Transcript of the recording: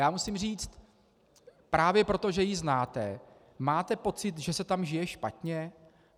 Já musím říct, právě proto, že ji znáte - máte pocit, že se tam žije špatně?